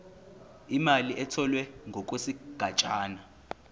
imali etholwe ngokwesigatshana